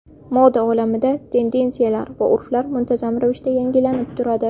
Moda olamida tendensiyalar va urflar muntazam ravishda yangilanib turadi.